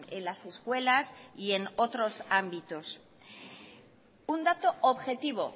en las escuelas y en otros ámbitos un dato objetivo